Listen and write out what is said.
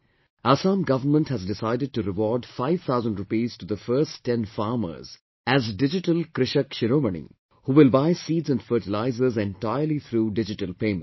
Assam Government has decided to reward 5 thousand rupees to the first 10 farmers as 'Digital Krishak Shiromani', who will buy seeds and fertilizers entirely through digital payments